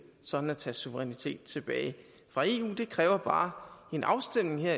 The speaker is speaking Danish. sådan at tage suverænitet tilbage fra eu det kræver bare en afstemning her